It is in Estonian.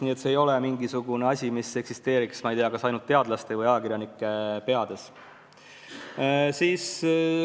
Nii et see ei ole mingisugune tegevus, mis eksisteeriks, ma ei tea, ainult teadlaste või ajakirjanike peades.